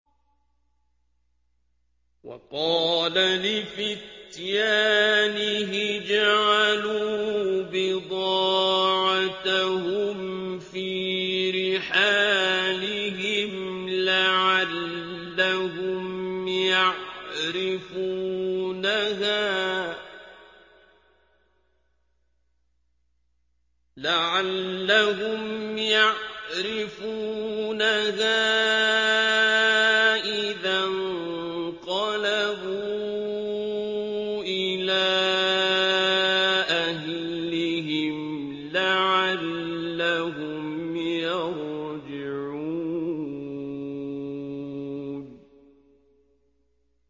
وَقَالَ لِفِتْيَانِهِ اجْعَلُوا بِضَاعَتَهُمْ فِي رِحَالِهِمْ لَعَلَّهُمْ يَعْرِفُونَهَا إِذَا انقَلَبُوا إِلَىٰ أَهْلِهِمْ لَعَلَّهُمْ يَرْجِعُونَ